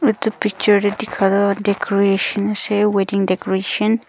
etu picture te dikhia toh decoration ase wedding decoration .